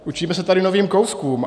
Učíme se tady novým kouskům.